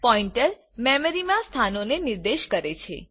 pointer memory માં સ્થાનોને નિર્દેશ કરે છે